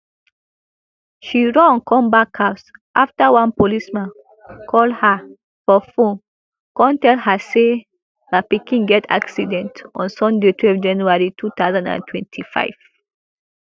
she run comeback house afta one policeman call her for phone kon tell her say her pikin get accident on sunday twelve january two thousand and twenty-five